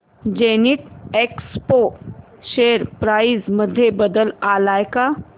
Zenith Expo share price मध्ये बदल आलाय का